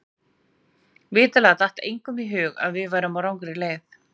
Vitanlega datt engum í hug að við værum á rangri leið.